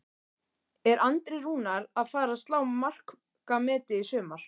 Er Andri Rúnar að fara að slá markametið í sumar?